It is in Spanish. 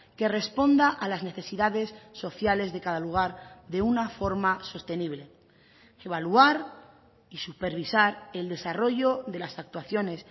que responda a las necesidades sociales de cada lugar de una forma sostenible evaluar y supervisar el desarrollo de las actuaciones